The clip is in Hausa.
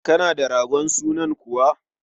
Kana da ragon sunan kuwa?